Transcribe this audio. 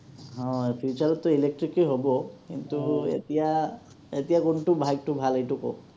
অ, future তটো electric এ হ’ব, কিন্তু এতিয়া, এতিয়া কোনটো bike টো ভাল এইটো কওক।